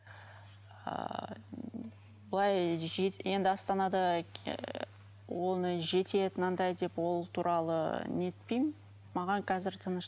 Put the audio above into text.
ыыы былай енді астанада ыыы оны жетеді мынандай деп ол туралы нетпеймін маған қазір тыныш